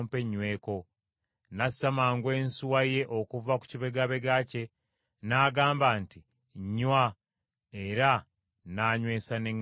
“Nassa mangu ensuwa ye okuva ku kibegabega kye, n’agamba nti, ‘Nnywa, era nnaanywesa n’eŋŋamira zo.’